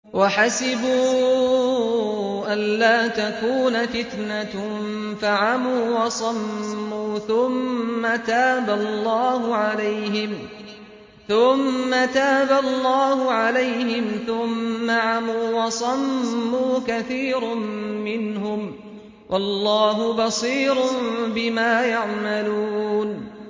وَحَسِبُوا أَلَّا تَكُونَ فِتْنَةٌ فَعَمُوا وَصَمُّوا ثُمَّ تَابَ اللَّهُ عَلَيْهِمْ ثُمَّ عَمُوا وَصَمُّوا كَثِيرٌ مِّنْهُمْ ۚ وَاللَّهُ بَصِيرٌ بِمَا يَعْمَلُونَ